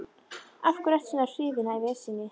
Af hverju ertu svona hrifinn af Esjunni?